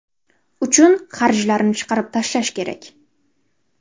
uchun xarjlarni chiqarib tashlash kerak.